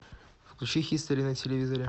включи хистори на телевизоре